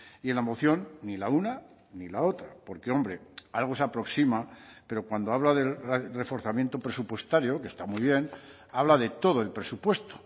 y en la moción ni la una ni la otra porque hombre algo se aproxima pero cuando habla del reforzamiento presupuestario que está muy bien habla de todo el presupuesto